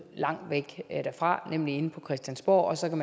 langt væk fra nemlig inde på christiansborg sådan